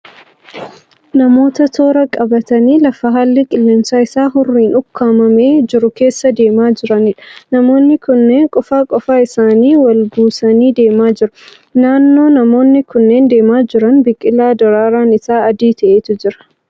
Namoota toora qabatanii lafa haalli qilleensa isaa hurriin ukkaamamee jiru keessa deemaa jiraniidha. Namoonni kunneen qofaa qofaa isaanii wal buusanii deemaa jiru. Naannoo namoonni kunneen deemaa jiran biqilaa daraaraan isaa adii ta'etu jira.